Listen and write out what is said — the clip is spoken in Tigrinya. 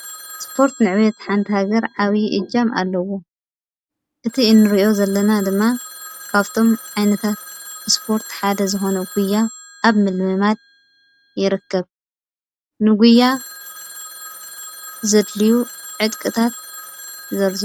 ስፖርት ንዕባት ሓንቲ ሃገር እጃም ኣለዎ ።እቲ እንሪኦ ዘለና ድማ ካብቶም ዓይነታት ስፖርት ሓደ ዝኮነ ጉያ ኣብ ምልምማድ ይርከብ። ንጉያ ዘድልዩ ዕጥቅታት ዘርዝሩ?